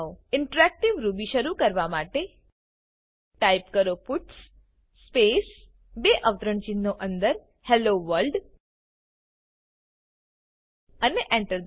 interactive Ruby શરૂ કરવા માટે ટાઈપ કરો પટ્સ સ્પેસ બે અવતરણચિહ્નો અંદર હેલ્લો વર્લ્ડ અને Enter